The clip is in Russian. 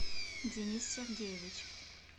денис сергеевич